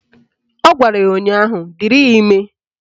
Ọ gwara ya ụnyaahụ " Dịrị ya ime"